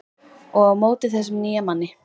Og á móti þessum nýja manni.